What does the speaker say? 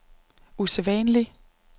usædvanlig